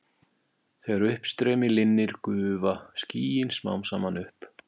Þegar uppstreymi linnir gufa skýin smám saman upp.